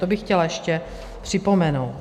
To bych chtěla ještě připomenout.